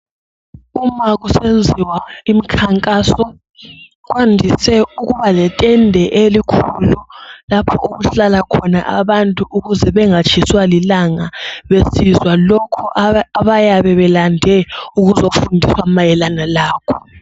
Uma kusenziwa imkhankaso kwandise ukuba letende elikhulu lapho okuhlala khona abantu ukuze bengatshiswa lilanga besizwa lokho abayabe belande ukuzofundiswa mayelana lakho.